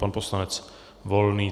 Pan poslanec Volný.